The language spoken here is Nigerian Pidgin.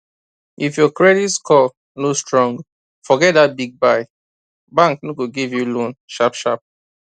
if your credit score no strong forget that big buy bank no go give you loan sharp sharp